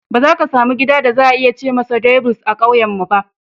Ba za ka samu gida da za a iya ce masa Debules (duplex) a ƙauyenmu ba.